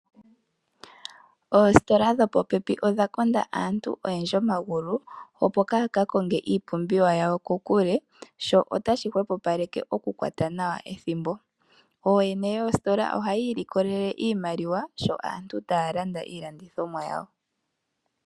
Oositola dho popepi odha konda aantu oyendji omagulu, opo kaya ka konge iipumbiwa yawo kokule, sho otashi kwatele po okukwata nawa ethimbo. Ooyene yoositola oha yiilikolele iimaliwa yawo sho aantu taa landa.